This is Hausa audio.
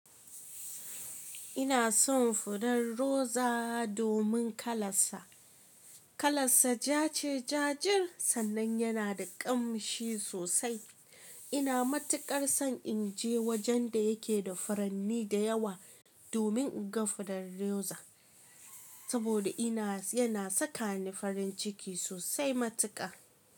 Ina son fudar roza domin kalarsa. Kalarsa ja ce jajir sannan yana da ƙamshi sosai. Ina matuƙar son in je wajen da yake da furanni da yawa domin in ga fudar roza. Saboda ina yana sakani farin ciki sosai matuƙa.